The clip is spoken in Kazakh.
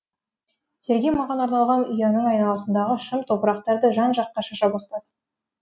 сергей маған арналған ұяның айналасындағы шым топырақтарды жан жаққа шаша бастады